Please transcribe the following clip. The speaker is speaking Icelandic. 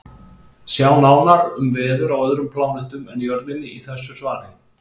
Sjá nánar um veður á öðrum plánetum en Jörðinni í þessu svari.